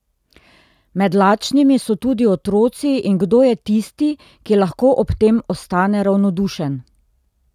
Med lačnimi so tudi otroci in kdo je tisti, ki lahko ob tem ostane ravnodušen?